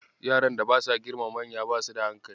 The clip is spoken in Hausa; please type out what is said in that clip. Yaran da basa girmama manya basu da hankali.